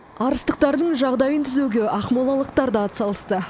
арыстықтардың жағдайын түзеуге ақмолалықтар да атсалысты